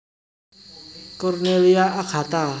Cornelia Agatha